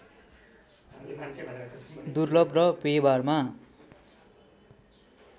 दुर्लभ र व्यवहारमा